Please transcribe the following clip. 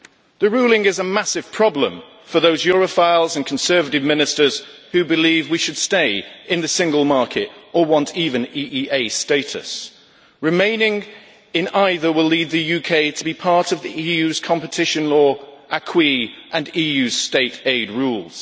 The ruling is a massive problem for those Europhiles and Conservative Ministers who believe we should stay in the single market or want even EEA status. Remaining in either will lead the UK to be part of the EU's competition law, acquis and EU state aid rules.